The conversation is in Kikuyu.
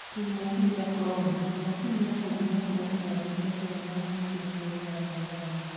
Kĩng'oki gĩa korona: macini ya gũthima korona 'yoneka inamahĩtia bũrũri wa Tanzania.'